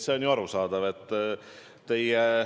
See on arusaadav.